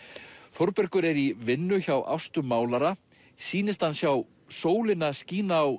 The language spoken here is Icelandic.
Þórbergur er í vinnu hjá Ástu málara sýnist hann sjá sólina skína á